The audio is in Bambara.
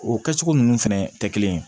O kɛcogo ninnu fɛnɛ tɛ kelen ye